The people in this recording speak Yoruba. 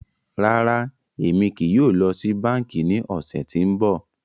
Rárá, Emi kii yóò lọ si banki ni ọsẹ ti n bọ.